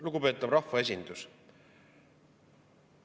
Lugupeetav rahvaesindus!